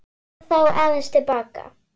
Förum þá aðeins til baka.